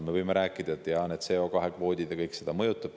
Me võime rääkida, et jaa, need CO2‑kvoodid ja kõik muud seda mõjutavad.